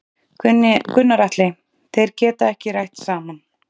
Gunnar Atli: Þeir geta ekki rætt saman?